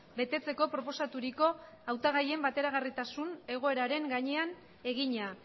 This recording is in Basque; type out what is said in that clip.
betetzeko proposaturiko hautagaien bateragarritasun egoeraren gainean egina